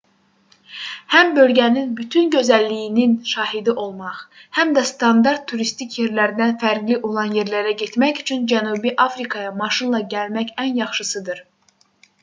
həm bölgənin bütün gözəlliyinin şahidi olmaq həm də standart turistik yerlərdən fərqli olan yerlərə getmək üçün cənubi afrikaya maşınla gəlmək ən yaxşısıdır